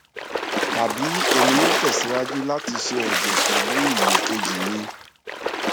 tabi emi yoo tẹsiwaju lati sẹ ẹjẹ pẹlu ilo keji mi